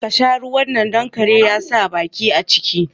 Karki sha ruwan nan, don kare ya sa baki a ciki